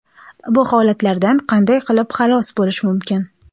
bu holatlardan qanday qilib xalos bo‘lish mumkin?.